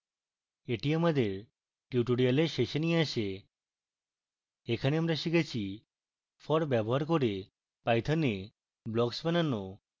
এটি আমাদের tutorial শেষে নিয়ে আসে